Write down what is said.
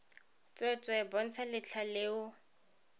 tsweetswee bontsha letlha le o